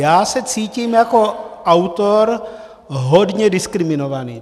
Já se cítím jako autor hodně diskriminovaný.